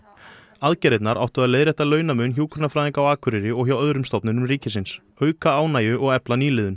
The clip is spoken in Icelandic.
aðgerðirnar áttu að leiðrétta launamun hjúkrunarfræðinga á Akureyri og hjá öðrum stofnunum ríkisins auka ánægju og efla nýliðun